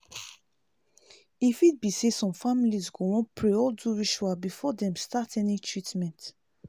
e fit be say some families go wan pray or do ritual before dem start any treatment